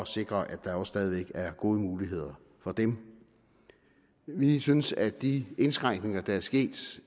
sikre at der stadig væk er gode muligheder for dem vi synes at de indskrænkninger der er sket